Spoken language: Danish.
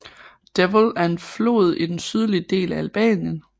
Devoll er en flod i den sydlige del af Albanien